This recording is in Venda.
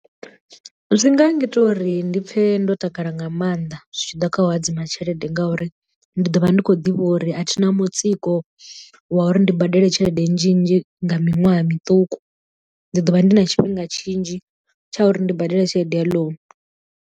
Zwi nga ngita uri ndi pfhe ndo takala nga maanḓa zwi tshi ḓa kha u hadzima tshelede ngauri ndi ḓo vha ndi khou ḓivha uri a thina mutsiko wa uri ndi badele tshelede nnzhi nnzhi nga miṅwaha miṱuku ndi ḓo vha ndi na tshifhinga tshinzhi tsha uri ndi badele tshelede ya ḽounu.